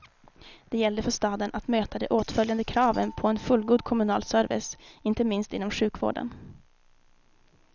Det gällde för staden att möta de åtföljande kraven på en fullgod kommunal service, inte minst inom sjukvården.